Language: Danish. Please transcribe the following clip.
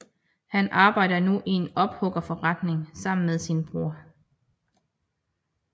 Han arbejder nu i en ophuggerforretning sammen med sin bror